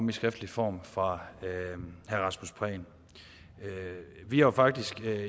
i skriftlig form fra herre rasmus prehn vi har faktisk